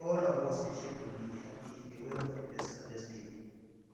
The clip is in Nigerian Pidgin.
all of us dey shake body dey happy dey wait for de first harvest day